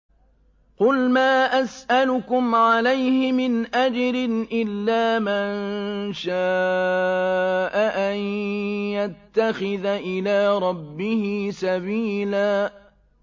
قُلْ مَا أَسْأَلُكُمْ عَلَيْهِ مِنْ أَجْرٍ إِلَّا مَن شَاءَ أَن يَتَّخِذَ إِلَىٰ رَبِّهِ سَبِيلًا